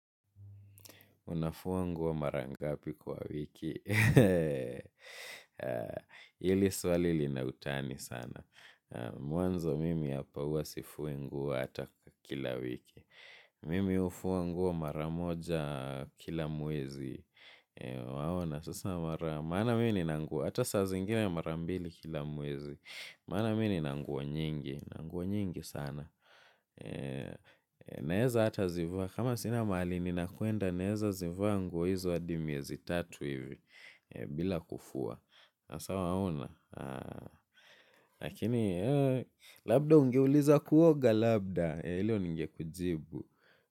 Unafua nguo mara ngapi kwa wiki. Hili swali lina utani sana. Mwanzo mimi hapa huwa sifui nguo hata kila wiki. Mimi hufua nguo mara moja kila mwezi. Waona sasa mara. Maana mimi nina nguo. Hata sa zingine mara mbili kila mwezi. Mana mimi ni nanguwa nyingi. Nanguwa nyingi sana. Naeza hata zivaa. Kama sina mahali ninakwenda naeza zivaa nguo hizo hadi miezi tatu hivi bila kufua. Na sa waona. Lakini labda ungeuliza kuoga labda. Hilo ningekujibu.